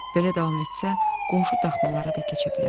Belə davam etsə, qonşu daxmalara da keçə bilərdi.